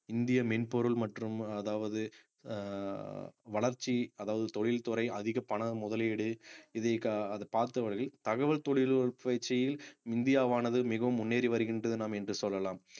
இந்திய மென்பொருள் மற்றும் அதாவது அஹ் வளர்ச்சி அதாவது தொழில்துறை, அதிக பணம் முதலீடு, இதை அதை பார்த்தவர்கள் தகவல் தொழில்நுட்ப பயிற்சியில் இந்தியாவானது மிகவும் முன்னேறி வருகின்றது நாம் என்று சொல்லலாம்